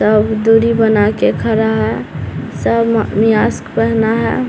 सब दूरी बना के खड़ा है सब मास्क पहना है।